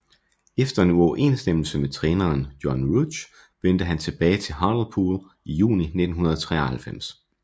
Efter en uoverensstemmelse med træneren John Rudge vendte han tilbage til Hartlepool i juni 1993